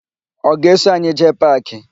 Ọ ga-eso anyị jee paakị?